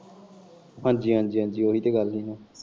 ਹਾਂਜੀ ਹਾਂਜੀ ਓਹੀ ਤੇ ਗੱਲ ਹੈ।